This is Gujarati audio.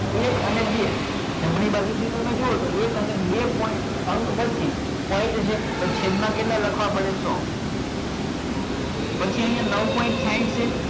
એક અને બે જમણી બાજુ થી તમે જોવો તો એક અને બે અંક પછી point હશે તો છેદ માં કેટલા લખવા પડે સો પછી અહિયાં નવ point સાહીંઠ છે